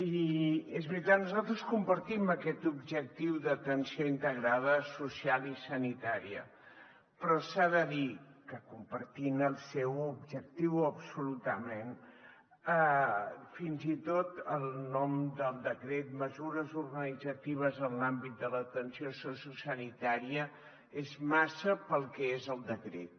i és veritat nosaltres compartim aquest objectiu d’atenció integrada social i sanitària però s’ha de dir que compartint el seu objectiu absolutament fins i tot el nom del decret mesures organitzatives en l’àmbit de l’atenció sociosanitària és massa per al que és el decret